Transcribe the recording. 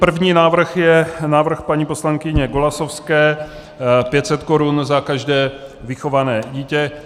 První návrh je návrh paní poslankyně Golasowské - 500 korun za každé vychované dítě.